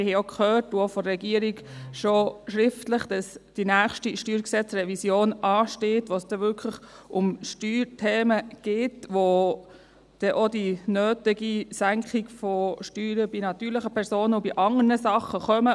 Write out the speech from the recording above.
Wir haben auch gehört – von der Regierung auch schon schriftlich –, dass die nächste StG-Revision ansteht, bei welcher es wirklich um Steuerthemen geht und wo auch die nötige Senkung von Steuern bei natürlichen Personen und bei anderen Dingen kommt.